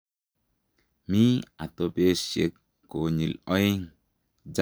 Mii atopesiek konyil oeng ,Jarvell Lange Nielsen netai ak nepo oeng